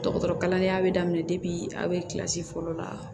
Dɔgɔtɔrɔ kalandenya bɛ daminɛ debi a bɛ kilasi fɔlɔ la